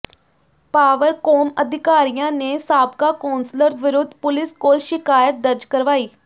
Powercom ਅਧਿਕਾਰੀਆਂ ਨੇ ਸਾਬਕਾ ਕੌਂਸਲਰ ਵਿਰੁੱਧ ਪੁਲੀਸ ਕੋਲ ਸ਼ਿਕਾਇਤ ਦਰਜ ਕਰਵਾਈ